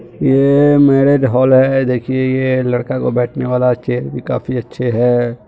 ये marriage hall है। ये देखिए ये लड़का को बैठने वाला चेयर भी काफी अच्छे है।